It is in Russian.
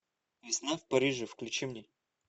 весна в париже включи мне